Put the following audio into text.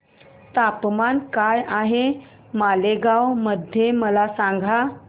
तापमान काय आहे मालेगाव मध्ये मला सांगा